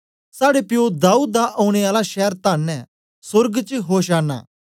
साड़े प्यो दाऊद दा औने आला शैर धन्न ऐ सोर्ग च होशाना